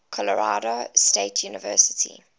colorado state university